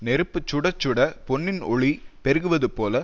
நெருப்பு சுடச்சுடப் பொன்னின் ஒளி பெருகுவது போல